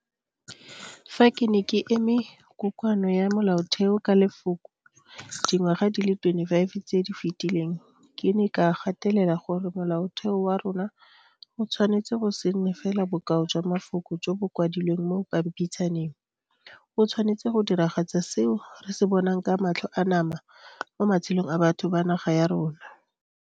Fa ke ne ke eme Kokoano ya Molaotheo ka lefoko dingwaga di le 25 tse di fetileng ke ne ka gatelela gore Molaotheo wa rona o tshwanetse go se nne fela bokao jwa mafoko jo bo kwadilweng mo pampitshaneng, o tshwanetse go diragatsa seo re se bonang ka matlho a nama mo matshelong a batho ba naga ya rona.